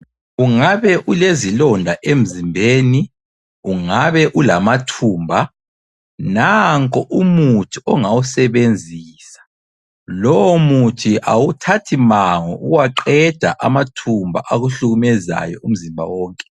Ungabe ulezilonda emzimbeni, ungabe ulamathumba, nanku umuthi ongawusebenzisa. Lowo muthi awuthathi mango ukuwaqeda amathumba akuhlukumezayo umzimba wonke.